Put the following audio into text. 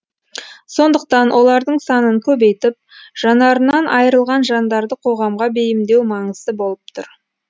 сондықтан олардың санын көбейтіп жанарынан айрылған жандарды қоғамға бейімдеу маңызды болып тұр